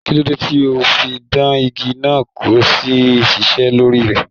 Kilode to o fí dàn ìgi náà kí o tó ṣiṣẹ lórí rẹ?